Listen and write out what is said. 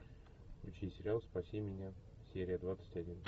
включи сериал спаси меня серия двадцать один